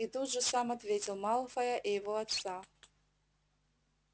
и тут же сам ответил малфоя и его отца